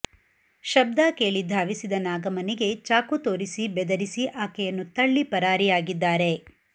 ಶಬ್ಧ ಕೇಳಿ ಧಾವಿಸಿದ ನಾಗಮ್ಮನಿಗೆ ಚಾಕು ತೋರಿಸಿ ಬೆದರಿಸಿ ಆಕೆಯನ್ನು ತಳ್ಳಿ ಪರಾರಿಯಾಗಿದ್ದಾರೆ